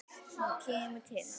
Hún kemur til hans.